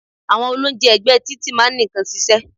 Àwọn olóúnjẹ ẹ̀gbẹ́ẹ títì máa ń nìkan ṣiṣẹ́.